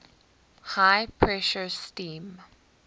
high pressure steam